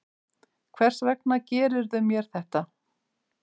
Hvers vegna gerðirðu mér þetta?